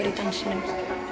í dansinum